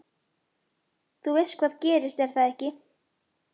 Þú veist hvað gerðist, er það ekki?